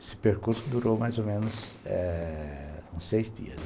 Esse percurso durou mais ou menos seis dias.